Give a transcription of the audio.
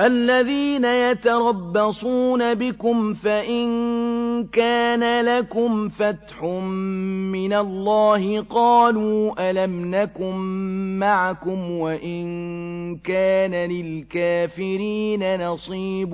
الَّذِينَ يَتَرَبَّصُونَ بِكُمْ فَإِن كَانَ لَكُمْ فَتْحٌ مِّنَ اللَّهِ قَالُوا أَلَمْ نَكُن مَّعَكُمْ وَإِن كَانَ لِلْكَافِرِينَ نَصِيبٌ